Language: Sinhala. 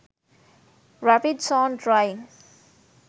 rapid zone drying